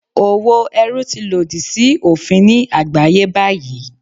Òwò ẹrú ti lòdì sí òfin ní àgbáyé báyìí.